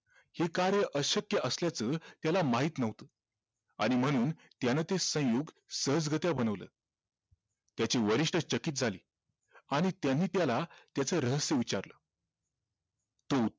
हे कार्य अशक्य असल्याचं त्याला माहित नव्हतं आणि म्हणून त्याने ते संयुग सहजगत्या बनवलं त्याचे वरिष्ठ चकित झाले आणि त्यांनी त्याला त्याच रहस्य विचारलं तो